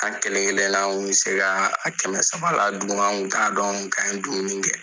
An kelenkelenna kun bɛ se ka a kɛmɛ saba la dun, an kun t'a dɔn k'an ye dumuni kɛ